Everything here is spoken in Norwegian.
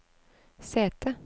sete